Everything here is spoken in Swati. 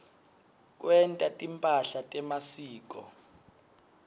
kwenta timphahla temasiko